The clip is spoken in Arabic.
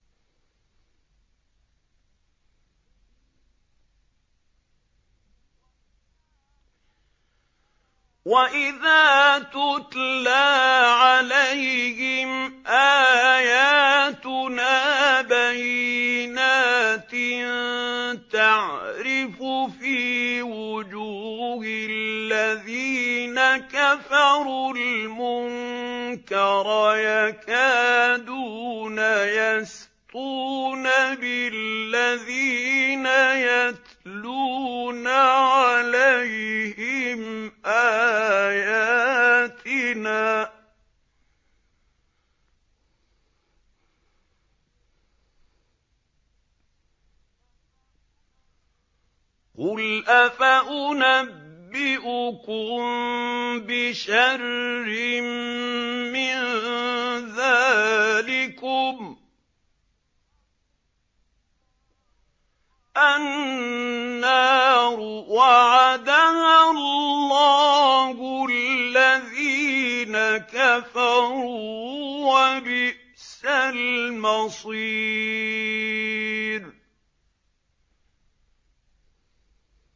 وَإِذَا تُتْلَىٰ عَلَيْهِمْ آيَاتُنَا بَيِّنَاتٍ تَعْرِفُ فِي وُجُوهِ الَّذِينَ كَفَرُوا الْمُنكَرَ ۖ يَكَادُونَ يَسْطُونَ بِالَّذِينَ يَتْلُونَ عَلَيْهِمْ آيَاتِنَا ۗ قُلْ أَفَأُنَبِّئُكُم بِشَرٍّ مِّن ذَٰلِكُمُ ۗ النَّارُ وَعَدَهَا اللَّهُ الَّذِينَ كَفَرُوا ۖ وَبِئْسَ الْمَصِيرُ